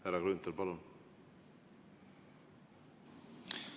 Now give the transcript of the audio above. Härra Grünthal, palun!